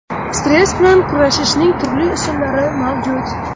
Stress bilan kurashishning turli usullari mavjud.